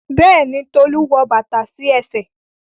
Béèni Tolu wọ bàtà sí ẹsẹ̀.